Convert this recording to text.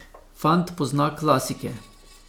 Fant pozna klasike.